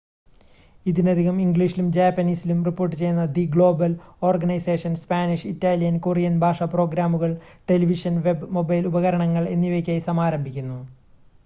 ഇതിനകം ഇംഗ്ലീഷിലും ജാപ്പനീസിലും റിപ്പോർട്ടുചെയ്യുന്ന the global organisation Spanish Italian Korean ഭാഷാ പ്രോഗ്രാമുകൾ ടെലിവിഷൻ വെബ് മൊബൈൽ ഉപകരണങ്ങൾ എന്നിവയ്ക്കായി സമാരംഭിക്കുന്നു